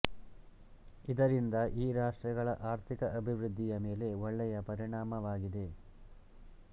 ಇದರಿಂದ ಈ ರಾಷ್ಟ್ರಗಳ ಆರ್ಥಿಕ ಅಭಿವೃದ್ಧಿಯ ಮೇಲೆ ಒಳ್ಳೆಯ ಪರಿಣಾಮವಾಗಿದೆ